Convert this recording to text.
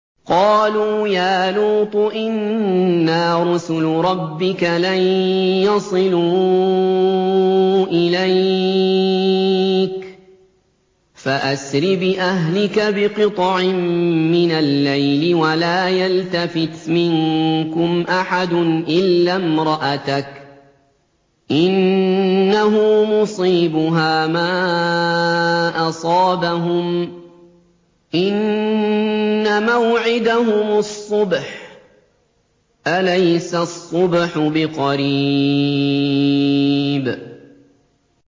قَالُوا يَا لُوطُ إِنَّا رُسُلُ رَبِّكَ لَن يَصِلُوا إِلَيْكَ ۖ فَأَسْرِ بِأَهْلِكَ بِقِطْعٍ مِّنَ اللَّيْلِ وَلَا يَلْتَفِتْ مِنكُمْ أَحَدٌ إِلَّا امْرَأَتَكَ ۖ إِنَّهُ مُصِيبُهَا مَا أَصَابَهُمْ ۚ إِنَّ مَوْعِدَهُمُ الصُّبْحُ ۚ أَلَيْسَ الصُّبْحُ بِقَرِيبٍ